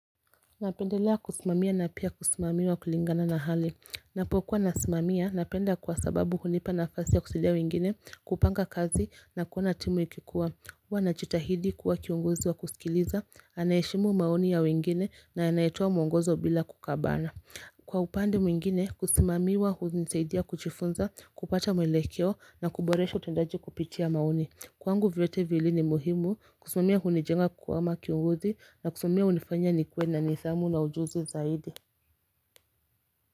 Napendelea kusimamia na pia kusimamiwa kulingana na hali Napokuwa nasimamia napenda kwa sababu hunipa na fasi ya kusaidia wengine kupanga kazi na kuona timu ikikuwa huu najitahidi kuwa kiongozi wa kusikiliza anayeheshimu maoni ya wengine na anayetoa mwongozo bila kukabana Kwa upande mwingine kusimamiwa hunisaidia kujifunza kupata mwelekewa na kuboresha utendaji kupitia maoni Kwangu vyote vili ni muhimu kutumia hunijenga kama kiongozi na kusumia unifanya nikwe na nisamu na ujuzi zaidi.